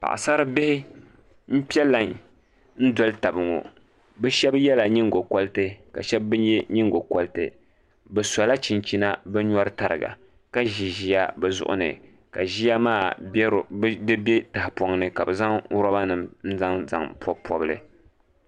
Paɣasari bihi n piɛ lai n dɔli tabi ŋɔ bi shab yɛla nyingokori ka shab ka shab bi yɛ nyingokoriti bi sɔla chinchina bi nyɔri tariga ka ʒi ʒiya bi zuɣuni ka ʒiya maa bɛ tahapoŋni ka bi zaŋ roba nim n zaŋ pobi pobili